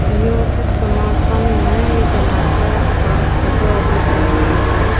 ये ऑफिस कर्नाटक में है ये कर्नाटक का स्पेशल ऑफिस है ब्रांच है।